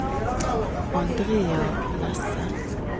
Andrea Nesse